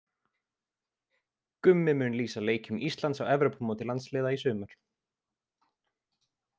Gummi mun lýsa leikjum Íslands á Evrópumóti landsliða í sumar.